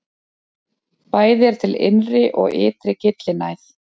Bæði er til innri og ytri gyllinæð.